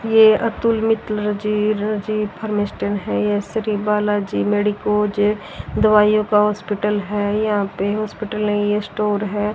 ये अतुल मेट्रोलॉजी जी रजी फार्मेस्टन ये श्री बाला जी मेडिकोज दवाइयां का हॉस्पिटल है यहां पे हॉस्पिटल नहीं ये स्टोर है।